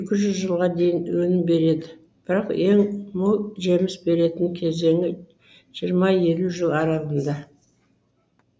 екі жүз жылға дейін өнім береді бірақ ең мол жеміс беретін кезеңі жиырма елу жыл аралығында